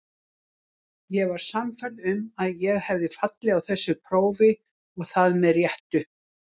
Ég var sannfærð um að ég hefði fallið á þessu prófi og það með réttu.